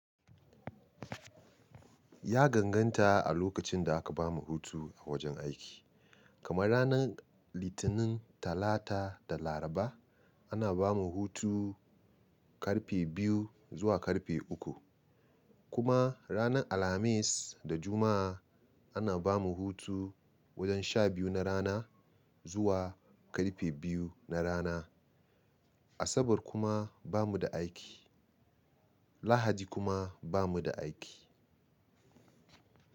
Ya ganganta a lokacin da aka bamu hutu a wajen aiki. Kamar ranar Litinin, Talata da Laraba ana bamu hutu karfe biyu zuwa karfe uku. Kuma ranar Alhamis da Juma'a ana bamu hutu wajen sha biyu na rana zuwa karfe biyu na rana. Asabar kuma bamu da aiki. Lahadi kuma bamu da aiki.